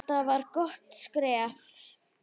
Þetta var gott skref.